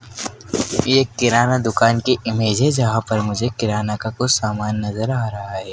एक किराना दुकान की इमेज है जहां पर मुझे किराना का कुछ सामान नजर आ रहा है।